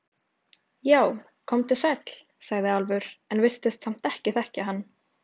Já, komdu sæll, sagði Álfur, en virtist samt ekki þekkja hann.